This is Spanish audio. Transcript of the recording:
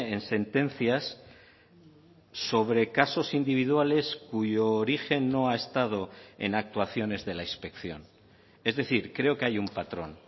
en sentencias sobre casos individuales cuyo origen no ha estado en actuaciones de la inspección es decir creo que hay un patrón